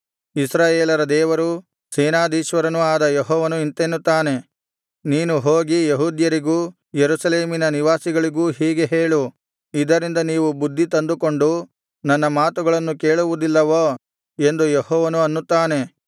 ಇಸ್ರಾಯೇಲರ ದೇವರೂ ಸೇನಾಧೀಶ್ವರನೂ ಆದ ಯೆಹೋವನು ಇಂತೆನ್ನುತ್ತಾನೆ ನೀನು ಹೋಗಿ ಯೆಹೂದ್ಯರಿಗೂ ಯೆರೂಸಲೇಮಿನ ನಿವಾಸಿಗಳಿಗೂ ಹೀಗೆ ಹೇಳು ಇದರಿಂದ ನೀವು ಬುದ್ಧಿತಂದುಕೊಂಡು ನನ್ನ ಮಾತುಗಳನ್ನು ಕೇಳುವುದಿಲ್ಲವೋ ಎಂದು ಯೆಹೋವನು ಅನ್ನುತ್ತಾನೆ